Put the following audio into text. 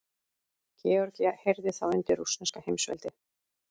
Georgía heyrði þá undir rússneska heimsveldið.